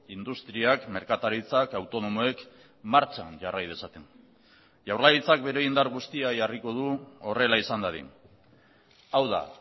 industriak merkataritzak autonomoek martxan jarrai dezaten jaurlaritzak bere indar guztia jarriko du horrela izan dadin hau da